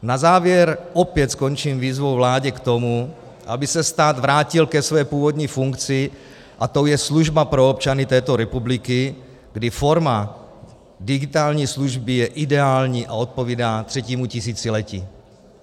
Na závěr opět skončím výzvou vládě k tomu, aby se stát vrátil ke své původní funkci, a tou je služba pro občany této republiky, kdy forma digitální služby je ideální a odpovídá třetímu tisíciletí.